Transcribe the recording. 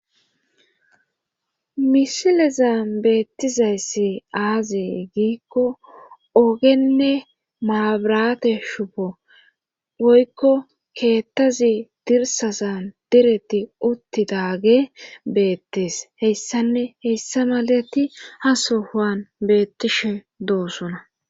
Misilezan beettizayssi aazee giikko ogenne maabirate shupo woykko keettazi dirsasan direti uttidaage beettes heyssanne heyssa malati ha sohuan beettishe doosona